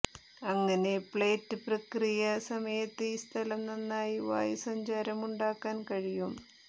അങ്ങനെ പ്ലേറ്റ് പ്രക്രിയ സമയത്ത് ഈ സ്ഥലം നന്നായി വായുസഞ്ചാരമുണ്ടാക്കാൻ കഴിയും